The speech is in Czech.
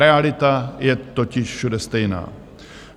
Realita je totiž všude stejná.